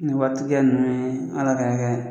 Nin watigiya ninnu ye Ala ka